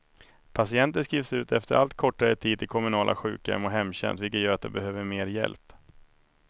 Patienter skrivs ut efter allt kortare tid till kommunala sjukhem och hemtjänst, vilket gör att de behöver mer hjälp.